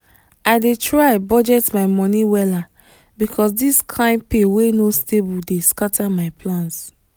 i dey try budget my money wella because this kain pay wey no stable dey scatter my plans.